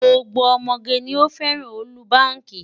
Gbogbo ọmọge ni ó fẹ́ràn ọ́lúbaàkì.